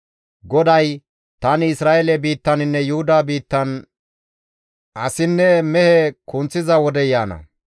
GODAY, «Tani Isra7eele biittaninne Yuhuda biittan asinne mehe kunththiza wodey yaana.